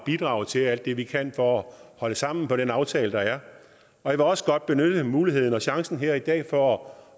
bidrage til alt det vi kan for at holde sammen på den aftale der er jeg vil også godt benytte muligheden og chancen her i dag for